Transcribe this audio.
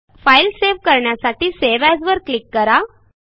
file save करण्यासाठी save as वर click करा